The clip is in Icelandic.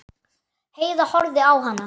Heiða horfði á hana.